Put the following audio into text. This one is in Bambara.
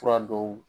Fura dɔw